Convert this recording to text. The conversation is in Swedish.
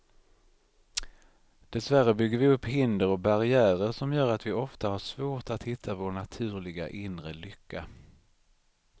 Dessvärre bygger vi upp hinder och barriärer som gör att vi ofta har svårt att hitta vår naturliga, inre lycka.